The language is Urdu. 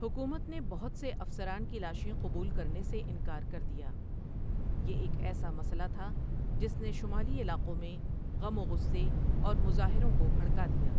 حکومت نے بہت سے افسران کی لاشیں قبول کرنے سے انکار کر دیا، یہ ایک ایسا مسئلہ تھا جس نے شمالی علاقوں میں غم و غصے اور مظاہروں کو بھڑکا دیا۔